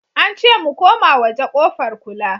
Ance mu koma waje kofar kula